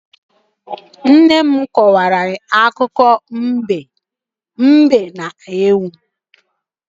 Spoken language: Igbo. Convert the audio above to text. Nne nne m kọrọ anyị akụkọ ifo banyere mbe na ewu.